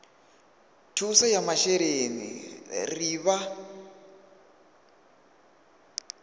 thuso ya masheleni ri vha